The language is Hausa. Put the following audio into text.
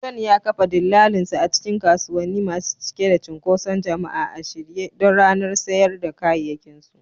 John ya kafa dillalinsa a cikin kasuwanni masu cike da cunkoson jama'a a shirye don ranar sayar da kayayyakinsu.